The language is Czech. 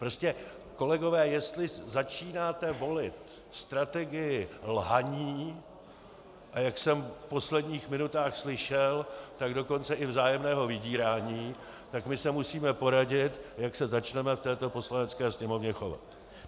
Prostě kolegové, jestli začínáte volit strategii lhaní, a jak jsem v posledních minutách slyšel, tak dokonce i vzájemného vydírání, tak my se musíme poradit, jak se začneme v této Poslanecké sněmovně chovat.